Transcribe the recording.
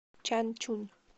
чанчунь